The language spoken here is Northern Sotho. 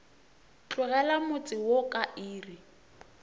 tlogela motse wo ka iri